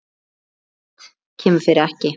Allt kemur fyrir ekki.